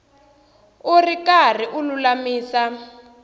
u ri karhi u lulamisa